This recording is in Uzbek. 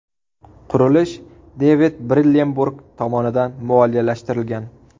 Qurilish Devid Brillemburg tomonidan moliyalashtirilgan.